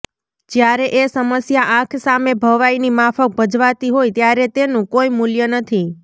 જ્યારે એ સમસ્યા આંખ સામે ભવાઈની માફક ભજવાતી હોય ત્યારે તેનું કોઈ મૂલ્ય નથી